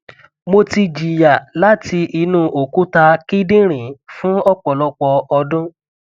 mo ti jiya lati inu okuta kidinrin fun ọpọlọpọ ọdun